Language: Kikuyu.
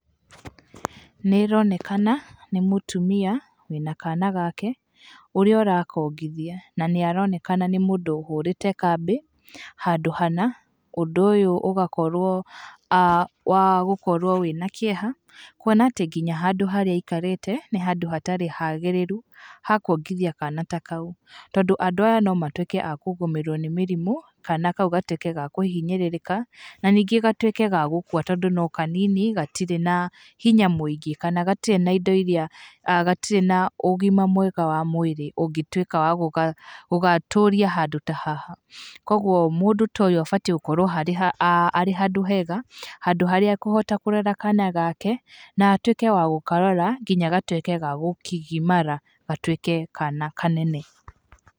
Nĩ ĩronekana nĩ mũtumia wĩna kana gake ũrĩa ũrakongithia na nĩ aroneka nĩ mũndũ ũhũrĩte kambĩ handũ hana, ũndũ ũyũ ũgakorwo wa gũkorwo wĩna kĩeha kuona atĩ nginya handũ harĩa aikarĩte nĩ handũ hatarĩ hagĩrĩru ha kuongithia kana ta kau tondũ andũ aya no matwĩke a kũgũmĩrwo nĩ mĩrimũ, kana kau gatwĩke ga kũhinyĩrĩrĩka na ningĩ gatwĩke ga gũkua tondũ no kanini, gatirĩ na hinya mũingĩ kana gatirĩ na indo iria, gatirĩ na ũgima mwega wa mwĩrĩ ũngĩtuĩka wa gũgatũria handũ ta haha, kũoguo mũndũ ta ũyũ abatiĩ gũkorwo arĩ handũ hega, handũ harĩa e kũhota kũrera kana gake na atwĩke wa gũkarora nginya gatwĩke ga kũgimara gatwĩke kana kanene.